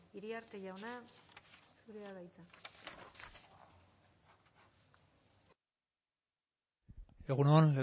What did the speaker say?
iriarte jauna zurea da hitza egun on